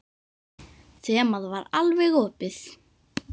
Þemað var alveg opið.